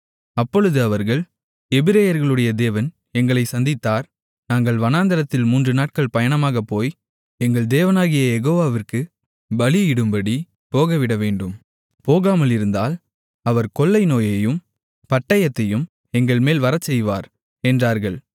அப்பொழுது அவர்கள் எபிரெயர்களுடைய தேவன் எங்களைச் சந்தித்தார் நாங்கள் வனாந்திரத்தில் மூன்றுநாட்கள் பயணமாக போய் எங்கள் தேவனாகிய யெகோவாவிற்கு பலியிடும்படி போகவிடவேண்டும் போகாமலிருந்தால் அவர் கொள்ளைநோயையும் பட்டயத்தையும் எங்கள்மேல் வரச்செய்வார் என்றார்கள்